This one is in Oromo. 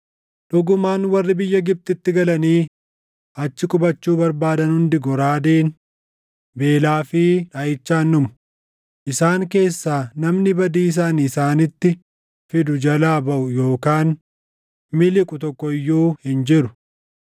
Dhugumaan warri biyya Gibxitti galanii achi qubachuu barbaadan hundi goraadeen, beelaa fi dhaʼichaan dhumu; isaan keessaa namni badiisa ani isaanitti fidu jalaa baʼu yookaan miliqu tokko iyyuu hin jiru.’